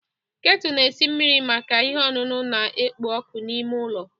Ketu na-esi mmiri maka ihe ọṅụṅụ na-ekpo ọkụ n'ime ụlọ.